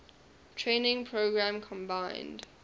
training program combined